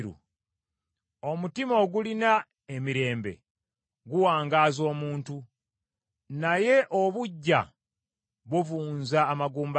Omutima ogulina emirembe guwangaaza omuntu, naye obuggya buvunza amagumba ge.